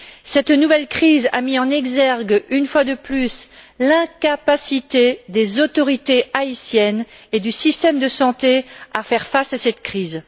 Cette nouvelle crise a mis en exergue une fois de plus l'incapacité des autorités haïtiennes et du système de santé à faire face à cette crise.